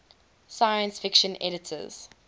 science fiction editors